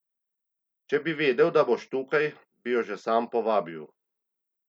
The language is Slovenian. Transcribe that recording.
Če bi vedel, da boš tukaj, bi jo že sam povabil.